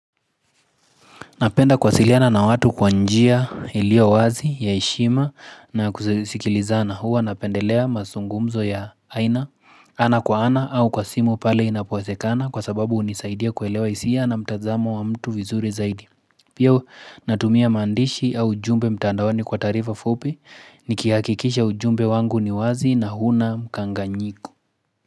Napenda kuwasiliana na watu kwanjia ilio wazi ya eshima na kusikilizana huwa napendelea mazungumzo ya aina ana kwa ana au kwa simu pale inapowezekana kwa sababu unisaidia kuelewa isia na mtazamo wa mtu vizuri zaidi. Pia natumia mandishi au ujumbe mtandaoni kwa tarifa fupi nikihakikisha ujumbe wangu ni wazi na huna mkanganyiko.